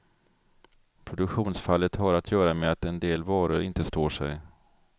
Produktionsfallet har att göra med att en del varor inte står sig.